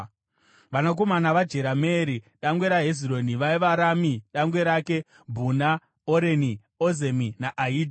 Vanakomana vaJerameeri dangwe raHezironi vaiva: Rami dangwe rake, Bhuna, Oreni, Ozemi naAhija.